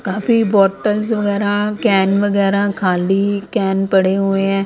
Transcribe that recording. काफी बॉटल्स वगैरा कैन वगेरा खाली कैन पड़े हुए हैं ।